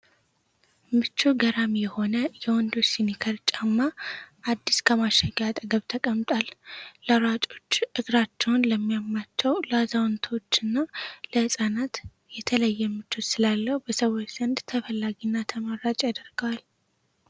ምቾቱ ገራሚ የሆነ የወንዶች ስኒከር ጫማ አዲስ ከማሸጊያዉ አጠገብ ተቀምጧል። ለሯጮች ፣ እግራቸዉን ለሚያማቸዉ፣ ለአዛዉንቶች እና ለህፃናት የተለየ ምቾት ስላለዉ በሰዎች ዘንድ ተፈላጊና ተመራጭ ያደርገዋል!